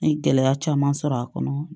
N ye gɛlɛya caman sɔrɔ a kɔnɔ